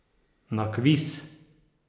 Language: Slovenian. Nakvis?